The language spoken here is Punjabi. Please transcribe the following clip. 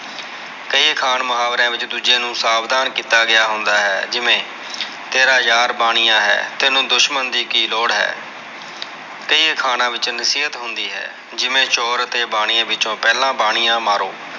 ਕਈ ਅਖਾਣ ਮੁਹਾਵਰਿਆਂ ਵਿਚ ਦੂਜੇ ਨੂੰ ਸਾਵਧਾਨ ਕਿੱਤਾ ਗਯਾ ਹੁੰਦਾ ਹੈ ਜਿਵੇਂ ਤੇਰਾ ਯਾਰ ਬਾਣੀਆ ਹੈ ਤੈਨੂੰ ਤੈਨੂੰ ਦੁਸ਼ਮਣ ਦੀ ਕਿ ਲੋੜ ਹੈ ਕਈ ਅਖਾਣਾਂ ਵਿਚ ਨਸੀਅਤ ਹੁੰਦੀ ਹੈ ਜਿਵੇਂ ਚੋਰ ਅਤੇ ਬਾਣੀਏ ਵਿੱਚੋ ਪਹਿਲਾ ਬਣਿਆ ਮਾਰੋ।